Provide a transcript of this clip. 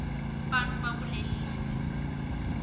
bantfu bakulela live